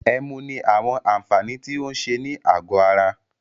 Ẹmu ní àwọn àǹfààní tí o ń ṣe ní àgọ ara.